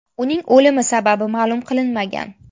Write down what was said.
Uning o‘limi sababi ma’lum qilinmagan.